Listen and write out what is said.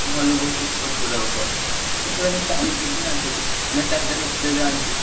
ନେତାଫେତା ଦେଖିବାକୁ ଯାଆନ୍ତି।